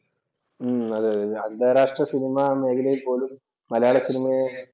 അതെ അതെ അന്താരാഷ്ട്ര സിനിമാ മേഖലയിൽ പോലും മലയാള സിനിമയെ